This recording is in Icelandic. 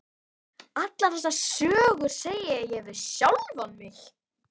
Allar þessar sögur, segi ég við sjálfan mig.